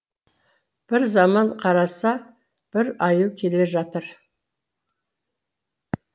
бір заман қараса бір аю келе жатыр